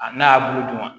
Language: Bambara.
A n'a y'a bulu dun